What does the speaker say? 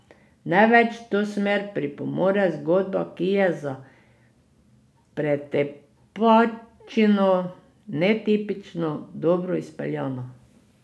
Največ v to smer pripomore zgodba, ki je za pretepačino netipično dobro izpeljana.